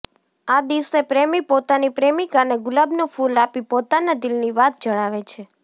આ દિવસે પ્રેમી પોતાની પ્રેમીકાને ગુલાબનું ફુલ આપી પોતાના દિલની વાત જણાવે છે